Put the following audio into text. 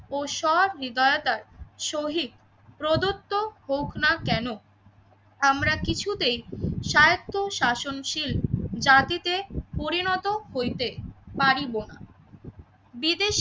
ও সৎ নির্ধারতায় শহীদ প্রদত্ত হোক না কেন আমরা কিছুতেই সায়ত্ব শাসনশীল জাতিতে পরিণত হইতে পারিব না । বিদেশী